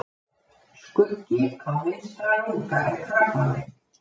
Skuggi á vinstra lunga er krabbamein.